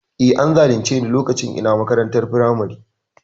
E, an zalunce ni lokacin ina makarantar firamare.